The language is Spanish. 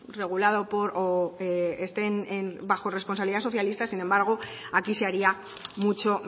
regulado o esté bajo responsabilidad socialista sin embargo aquí se haría mucho